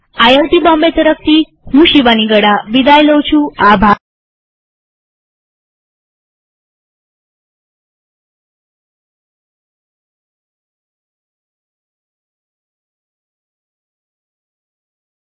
IIT Bombay તરફથી હું શિવાની ગડા વિદાય લઉં છુંટ્યુ્ટોરીઅલમાં ભાગ લેવા આભાર